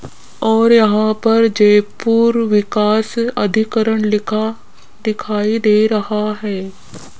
और यहां पर जयपुर विकास अधिकरण लिखा दिखाई दे रहा है।